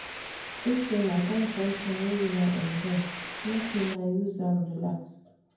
If una find sometin wey una enjoy, make una use am relax.